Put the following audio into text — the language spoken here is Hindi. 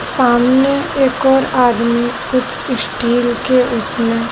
सामने एक और आदमी कुछ स्टील के उसमें--